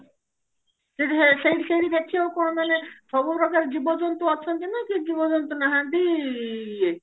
ସେଠି ସେଇଠି ସେଇଠି ଦେଖିବାକୁ କଣ ମାନେ ସବୁ ପ୍ରକାର ଜୀବଜନ୍ତୁ ଅଛନ୍ତି ନା କିଛି ଜୀବଜନ୍ତୁ ନାହାନ୍ତି